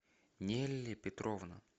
нелли петровна